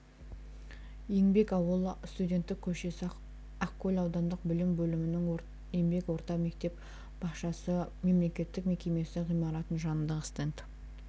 еңбек ауылы студенттік көшесі ақкөл аудандық білім бөлімінің еңбек орта мектеп-бақшасы мемлекеттік мекемесі ғимаратының жанындағы стенд